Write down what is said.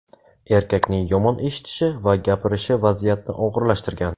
Erkakning yomon eshitishi va gapirishi vaziyatni og‘irlashtirgan.